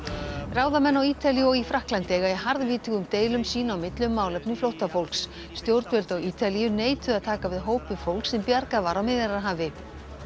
ráðamenn á Ítalíu og í Frakkalandi eiga í harðvítugum deilum sín á milli um málefni flóttafólks stjórnvöld á Ítalíu neituðu að taka við hópi fólks sem bjargað var á Miðjarðarhafi